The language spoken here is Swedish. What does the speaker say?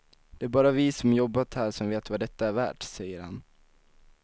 Det är bara vi som jobbat här som vet vad detta är värt, säger han.